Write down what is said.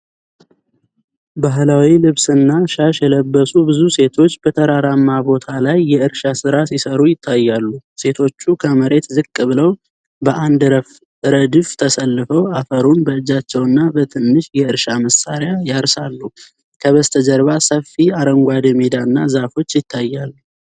ባህላዊ ልብስና ሻሽ የለበሱ ብዙ ሴቶች በተራራማ ቦታ ላይ የእርሻ ሥራ ሲሰሩ ይታያሉ። ሴቶቹ ከመሬት ዝቅ ብለው በአንድ ረድፍ ተሰልፈው አፈርን በእጃቸውና በትንሽ የእርሻ መሳሪያ ያርሳሉ። ከበስተጀርባ ሰፊ አረንጓዴ ሜዳና ዛፎች ይታያሉ።